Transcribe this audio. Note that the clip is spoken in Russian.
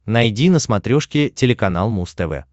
найди на смотрешке телеканал муз тв